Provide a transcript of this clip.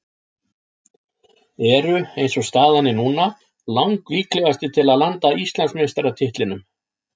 Eru eins og staðan er núna lang líklegastir til að landa Íslandsmeistaratitlinum.